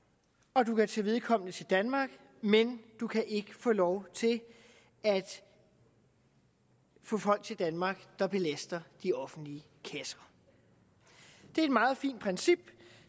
og du kan tage vedkommende til danmark men du kan ikke få lov til at få folk til danmark der belaster de offentlige kasser det er et meget fint princip